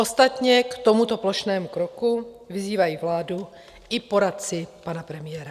Ostatně k tomuto plošnému kroku vyzývají vládu i poradci pana premiéra.